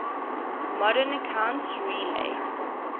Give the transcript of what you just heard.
modern accounts rely